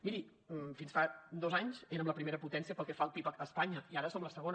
miri fins fa dos anys érem la primera potència pel que fa al pib a espanya i ara som la segona